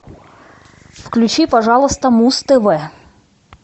включи пожалуйста муз тв